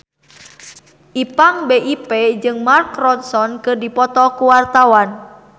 Ipank BIP jeung Mark Ronson keur dipoto ku wartawan